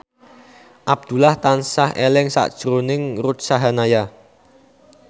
Abdullah tansah eling sakjroning Ruth Sahanaya